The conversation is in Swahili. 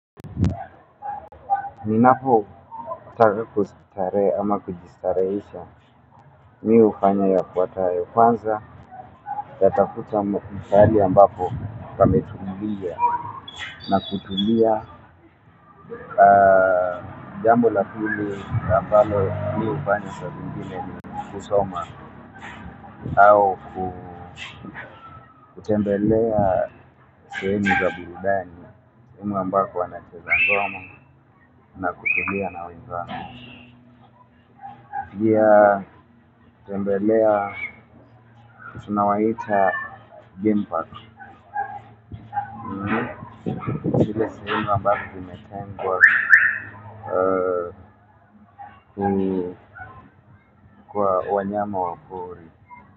Ninapo taka kustarehe ama kujistarehesha mimi hufanya ya fuatayo kwanza na tafuta mahali ambako pametumulia na kutulia jambo la pili na mbalo mimi hufanya saa zingine ni kusoma au kutembelea sehemu za burudani ambako wanacheza ngoma na kutulia na wenzangu. Pia kutembelea tunawaita gem park. Zile sehemu ambazo zimetengwa kwa wanyama wa pori.